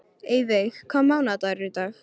Eyveig, hvaða mánaðardagur er í dag?